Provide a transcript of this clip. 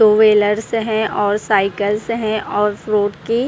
to wheelers हैं और cycles हैं और रोड के--